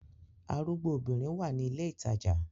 Arugbo obinrin wa ni ile itaja